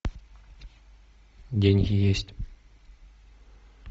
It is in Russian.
деньги есть